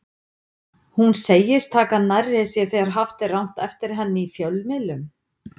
Hún segist taka nærri sér þegar haft er rangt eftir henni í fjölmiðlum.